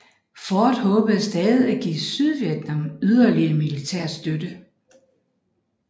Ford håbede stadig at give Sydvietnam yderligere militær støtte